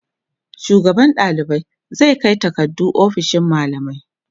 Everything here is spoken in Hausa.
shugaban ɗalibai zai Kai takardu ofishin mallamai